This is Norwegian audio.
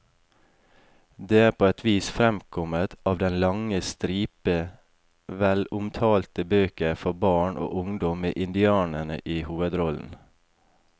Det er på et vis fremkommet av den lange stripe velomtalte bøker for barn og ungdom med indianere i hovedrollen.